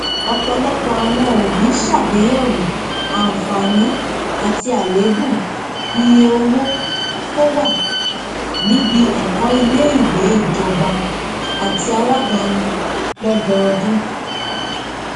ọpọlọpọ àwọn òbí sàgbéyẹwò àǹfààní àti àléébù iye owó tó wà níbí ẹkọ iléìwé ìjọbá àtí aládáni lọdọọdún